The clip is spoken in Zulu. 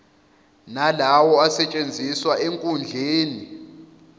nalawo asetshenziswa enkundleni